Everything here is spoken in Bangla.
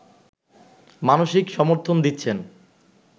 মানসিক সমর্থন দিচ্ছেন